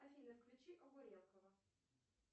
афина включи огурелкова